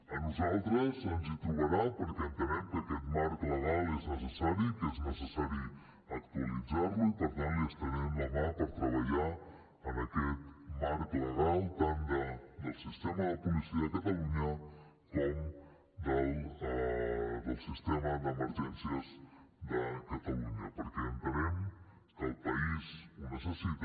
a nosaltres ens hi trobarà perquè entenem que aquest marc legal és necessari que és necessari actualitzar lo i per tant li estenem la mà per treballar en aquest marc legal tant del sistema de policia de catalunya com del sistema d’emergències de catalunya perquè entenem que el país ho necessita